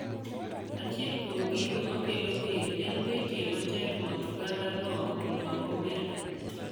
achiel kuom gigo makelo dhier en betie matek mondo oganda no onuang' omenda